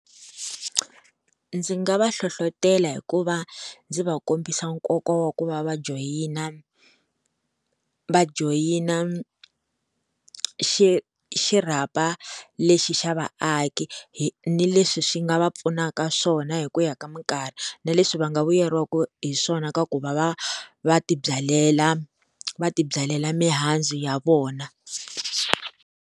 Ndzi nga va hlohlotela hikuva ndzi va kombisa nkoka wa ku va joyina va joyina xi xirhapa lexi xa vaaki hi ni leswi swi nga va pfunaka swona hi ku ya ka minkarhi na leswi va nga vuyeriwaka hi swona ka ku va va va tibyalela va tibyalela mihandzu ya vona.